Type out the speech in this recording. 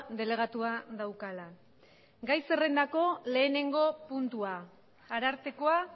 delegatua daukala gai zerrendako lehenengo puntua arartekoa